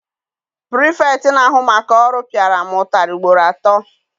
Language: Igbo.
Pirifetktị na-ahụ maka ọrụ piara m ụtarị ugboro atọ.